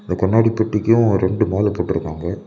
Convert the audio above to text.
இந்த கண்ணாடி பெட்டிக்கும் ரெண்டு மாலை கட்டிறுக்காங்க.